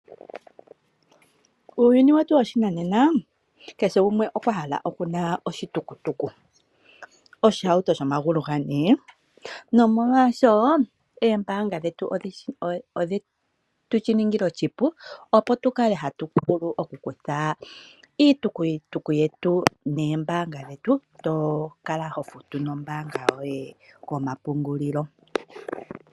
Uuyuni wetu woshinanena keshe gumwe okwa hala okuna oshitukutuku, oshihauto shomagulu gane. Nomolwaasho eembaanga dhetu odheshi tu ningila oshipu opo tu kale hatu vulu oku kutha iitukutuku yetu neembaanga dhetu to kala ho futu nombaanga yoye ko mapungulilo.